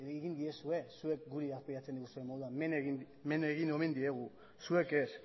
egin diezue zuek hemen arbuiatzen diguzuen moduan men egin omen diegu zuek ez